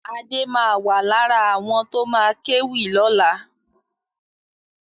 Adé ma wà lára àwọn tó ma kéwì lọ́la